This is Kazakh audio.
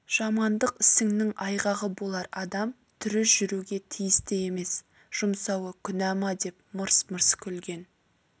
жамандық ісіңнің айғағы болар адам тірі жүруге тиісті емес жұмсауы күнә ма деп мырс-мырс күлген